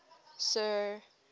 sir